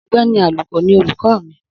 Ogbéni Àlùkò ni olùkọ́ mìi